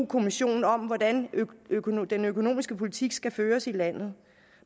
kommissionen om hvordan den økonomiske politik skal føres i landet